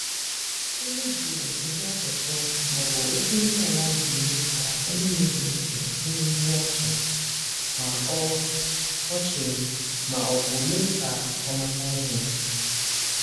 Ilu bụ ụdị asụsụ ma ọ bụ okwu ndị a na-eji mee ka onye na-ege ntị nwee ihe ọchị ma ọ ọchị ma ọ bụ mee ka ọ mata ihe.